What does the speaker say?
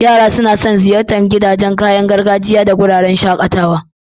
Yara suna son ziyartar gidan kayan gargajiya da wuraren shakatawa.